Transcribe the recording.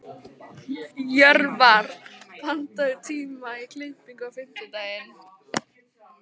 Jörvar, pantaðu tíma í klippingu á fimmtudaginn.